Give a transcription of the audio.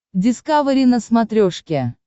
дискавери на смотрешке